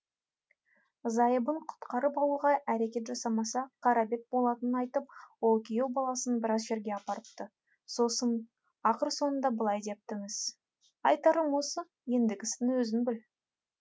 зайыбын құтқарып алуға әрекет жасамаса қара бет болатынын айтып ол күйеу баласын біраз жерге апарыпты сосын ақыр соңында былай депті міс айтарым осы ендігісін өзің біл